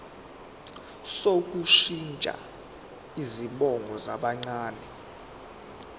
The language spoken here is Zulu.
sokushintsha izibongo zabancane